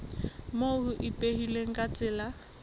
moo ho ipehilweng ka tsela